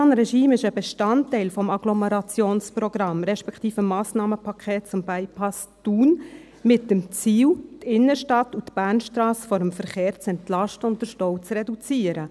Das Einbahnregime ist ein Bestandteil des Agglomerationsprogramms respektive des Massnahmenpakets zum Bypass Thun, mit dem Ziel, die Innenstadt und die Bernstrasse vom Verkehr zu entlasten und den Stau zu reduzieren.